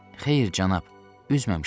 Xeyr, cənab, üzməmişəm.